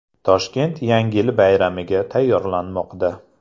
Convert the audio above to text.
Toshkent Yangi yil bayramiga tayyorlanmoqda.